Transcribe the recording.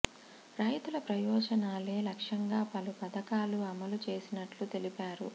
రైతుల ప్రయోజ నాలే లక్ష్యంగా పలు పథకాలు అమలు చేస్తున్నట్టు తెలిపారు